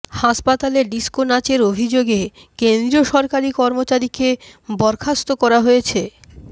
হাসপাতালে ডিস্কো নাচের অভিযোগে কেন্দ্রীয় সরকারি কর্মচারীকে বরখাস্ত করা হয়েছে